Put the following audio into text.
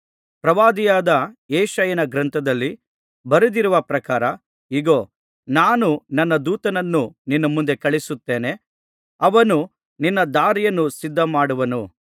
ಪ್ರವಾದಿಯಾದ ಯೆಶಾಯನ ಗ್ರಂಥದಲ್ಲಿ ಬರೆದಿರುವ ಪ್ರಕಾರ ಇಗೋ ನಾನು ನನ್ನ ದೂತನನ್ನು ನಿನ್ನ ಮುಂದೆ ಕಳುಹಿಸುತ್ತೇನೆ ಅವನು ನಿನ್ನ ದಾರಿಯನ್ನು ಸಿದ್ಧಮಾಡುವನು